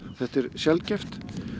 þetta er sjaldgæft